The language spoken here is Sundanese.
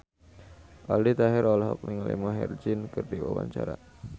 Aldi Taher olohok ningali Maher Zein keur diwawancara